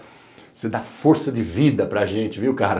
Você dá força de vida para a gente, viu, cara?